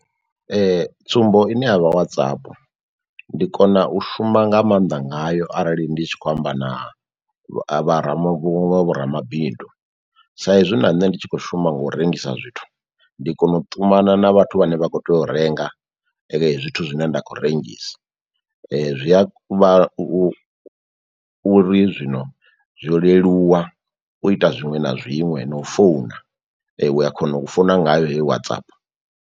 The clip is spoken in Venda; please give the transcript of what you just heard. Tsumbo ine yavha WhatsApp, ndi kona u shuma nga mannḓa ngayo arali ndi tshi khou amba na vho ramabindu saizwi na nṋe ndi tshi khou shuma ngo u rengisa zwithu. Ndi kona u ṱumana na vhathu vhane vha kho tea u renga , zwithu zwine nda khou rengisa zwi a vha u uri zwino zwo leluwa u ita zwiṅwe na zwiṅwe, no u founa u a kona u founa ngayo hei WhatsApp.